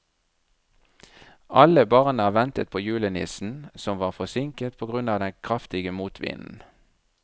Alle barna ventet på julenissen, som var forsinket på grunn av den kraftige motvinden.